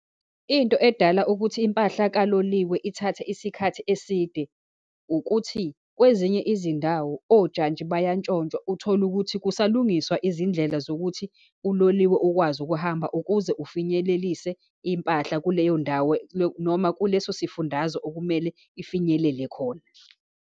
Into edala ukuthi impahla kaloliwe ithathe isikhathi eside, ukuthi kwezinye izindawo ojantshi bayantshontshwa, uthole ukuthi kusalungiswa izindlela zokuthi uloliwe ukwazi ukuhamba, ukuze ufinyelelise impahla kuleyo ndawo noma kuleso sifundazo okumele ifinyelele khona.